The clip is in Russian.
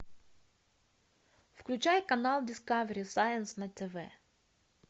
включай канал дискавери сайнс на тв